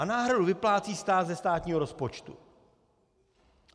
A náhradu vyplácí stát ze státního rozpočtu.